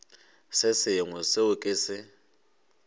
se sengwe seo ke se